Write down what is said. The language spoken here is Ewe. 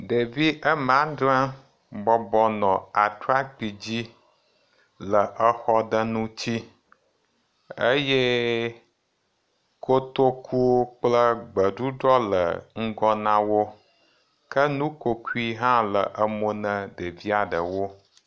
ŋutsuviwo bublɔ gakpo ɖe dzi le xɔ ɖewo megbee kotoku vuvu ku ɖewo le wogbɔ wole asem ka ye fimi wɔ abe bɔla dzi le ene eye gaŋgbagba ɖewo tse le wogbɔ.